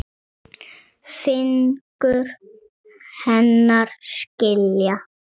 Fingur hennar skilja á milli.